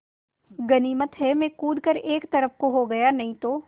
गनीमत है मैं कूद कर एक तरफ़ को हो गया था नहीं तो